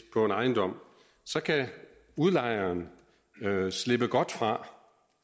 på en ejendom så kan udlejeren slippe godt fra